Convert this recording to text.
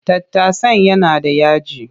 Tattasan yana da yaji.